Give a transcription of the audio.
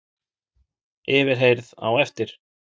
Yfirheyrð á eftir